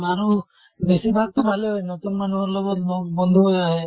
মানুহ বেছিভাগ তো ভালেই হয় । নতুন মানুহৰ লগত লগ বন্ধু হৈ আহে